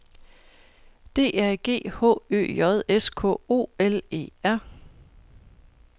D A G H Ø J S K O L E R